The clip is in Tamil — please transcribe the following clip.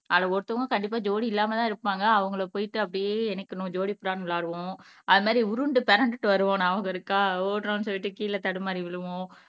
அதுல ஒருத்தவங்க கண்டிப்பா ஜோடி இல்லாமதான் இருப்பாங்க அவங்களை போயிட்டு அப்படியே இணைக்கணும் ஜோடி புறான்னு விளையாடுவோம் அது மாரி உருண்டு பிரண்டுட்டு வருவோம் ஞாபகம் இருக்கா ஓடறோம்ன்னு சொல்லிட்டு கீழே தடுமாறி விழுவோம்.